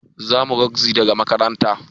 Zamuje rogzi daga makaranta